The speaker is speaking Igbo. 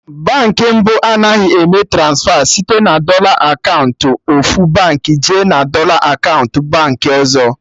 Baankị mbụ Anaghị eme transfa site na dọla akaụntụ ofu Baankị jee na dọla akaụntụ Baankị ọzọ